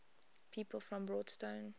people from broadstone